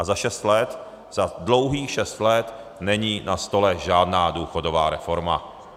A za šest let, za dlouhých šest let, není na stole žádná důchodová reforma.